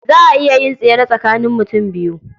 Za a iya yin tsere tsakanin mutum biyu.